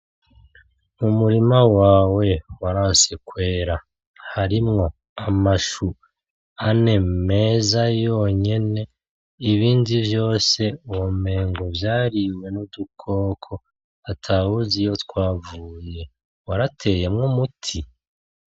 Umurima wawe waranse kwera, harimwo amashu ane meza yonyene ibindi vyose womengo vyariwe n'udukoko atawuzi iyo twavuye, warateyemwo umuti?